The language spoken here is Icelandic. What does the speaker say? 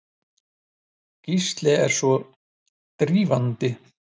Gísli er svo drýldinn.